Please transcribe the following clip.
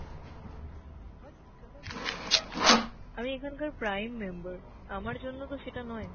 আমি এখানকার prime member, আমার জন্যতো সেটা নয়।